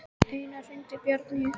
Einara, hringdu í Bjarnnýju.